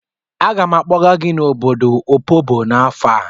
Aga m akpọga gị n'obodo Opobo n'afọ a.